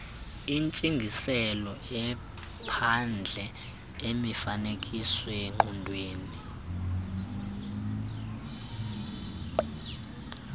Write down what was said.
entsingiselo iphandle imifanekisoongqondweni